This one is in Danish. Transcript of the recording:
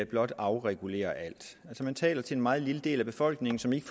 blot afregulere alt altså man taler til en meget lille del af befolkningen som ikke